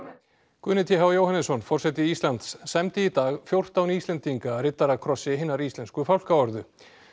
Guðni t h Jóhannesson forseti Íslands sæmdi í dag fjórtán Íslendinga riddarakrossi hinnar íslensku fálkaorðu